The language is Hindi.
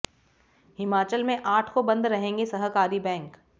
हिमाचल में आठ को बंद रहेंगे सहकारी बैंक